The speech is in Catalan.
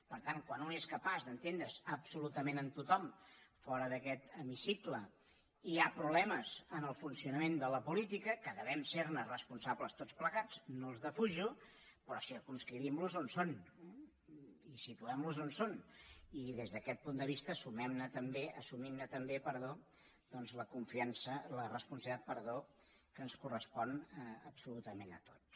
per tant quan un és capaç d’entendre’s absolutament amb tothom fora d’aquest hemicicle hi ha problemes en el funcionament de la política que devem ser ne responsables tots plegats no els defujo però circumscrivim los on són i situem los on són i des d’aquest punt de vista assumim ne també doncs la responsabilitat que ens correspon absolutament a tots